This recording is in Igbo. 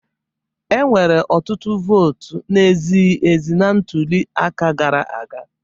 Enwere ọtụtụ votu na-ezighi ezi na ntuli aka gara aga